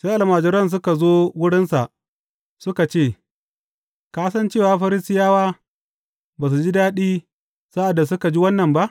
Sai almajiran suka zo wurinsa suka ce, Ka san cewa Farisiyawa ba su ji daɗi sa’ad da suka ji wannan ba?